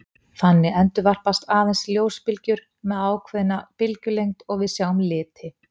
Þannig endurvarpast aðeins ljósbylgjur með ákveðna bylgjulengd og við sjáum liti.